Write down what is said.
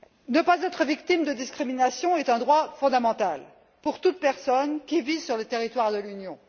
Ne pas être victime de discriminations est un droit fondamental pour toute personne qui vit sur le territoire de l'Union.